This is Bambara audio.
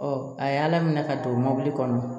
a y'ala minɛ ka don mɔbili kɔnɔ